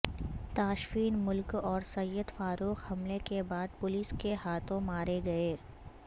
تاشفین ملک اور سید فاروق حملے کے بعد پولیس کے ہاتھوں مارے گئے